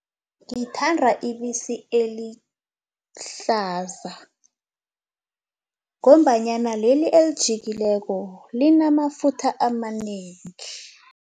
Ngithanda ibisi elihlaza ngombanyana leli elijikileko linamafutha amanengi.